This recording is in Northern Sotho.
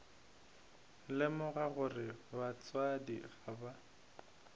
lemoga gore batswadi ga ba